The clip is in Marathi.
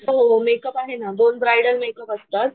हो हो मेकअप आहे ना दोन ब्रायडल मेकअप असतात.